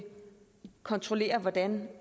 kontrollere hvordan